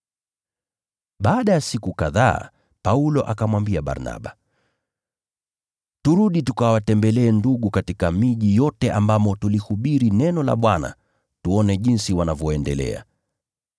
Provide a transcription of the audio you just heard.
Baada ya muda, Paulo akamwambia Barnaba, “Turudi tukawatembelee ndugu katika miji yote tuliyohubiri neno la Bwana tuone jinsi wanavyoendelea.”